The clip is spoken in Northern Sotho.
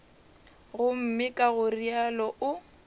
gomme ka go realo o